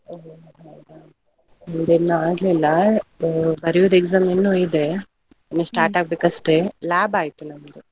ಓ ಹೋ ಹೌದಾ! ನಮ್ದು ಇನ್ನು ಆಗ್ಲಿಲ್ಲ ಬರೆಯುದು exam ಇನ್ನು ಇದೆ. ಇನ್ನು start ಆಗ್ಬೇಕು ಅಷ್ಟೇ. lab ಆಯ್ತು ನಮ್ದು.